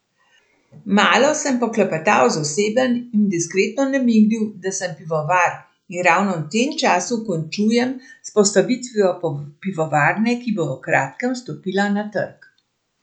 Malo sem poklepetal z osebjem in jim diskretno namignil, da sem pivovar in ravno v tem času končujem s postavitvijo pivovarne, ki bo v kratkem vstopila na trg.